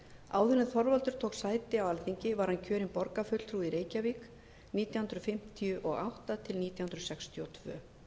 áður en þorvaldur tók sæti á alþingi var hann kjörinn borgarfulltrúi í reykjavík nítján hundruð fimmtíu og átta til nítján hundruð sextíu og tvö